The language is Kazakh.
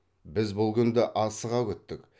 біз бұл күнді асыға күттік